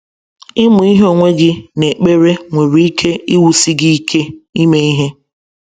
Ịmụ ihe onwe gị na ekpere nwere ike iwusi gị ike ime ihe.